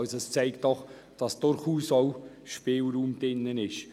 Das zeigt, dass durchaus ein gewisser Spielraum enthalten ist.